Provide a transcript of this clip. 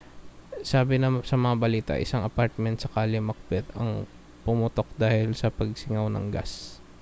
sabi sa mga balita isang apartment sa kalye macbeth ang pumutok dahil sa pagsingaw ng gas